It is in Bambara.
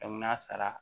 n'a sara